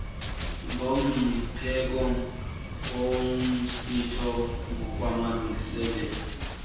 nomngcipheko womsitho ngokwamalungiselelo